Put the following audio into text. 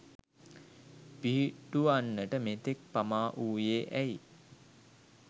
පිහිටුවන්නට මෙතෙක් පමා වූයේ ඇයි?